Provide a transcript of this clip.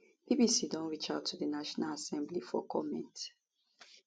bbc don reach out to di national assembly for comment